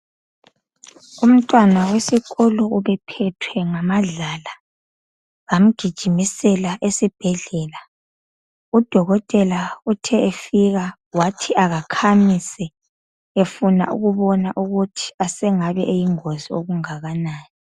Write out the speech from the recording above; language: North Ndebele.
Umntwana wesikolo ubephethwe ngamadlala. Bamgijimisela esibhedlela. Udokotela uthe efika, wathi akakhamise. Efuna ukubona ukuthi asengabe eyingozi okungakanani.